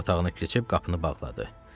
Yataq otağına keçib qapını bağladı.